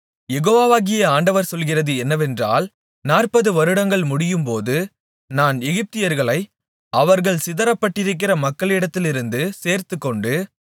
யெகோவாகிய ஆண்டவர் சொல்லுகிறது என்னவென்றால் நாற்பதுவருடங்கள் முடியும்போது நான் எகிப்தியர்களை அவர்கள் சிதறப்பட்டிருக்கிற மக்களிடத்திலிருந்து சேர்த்துக்கொண்டு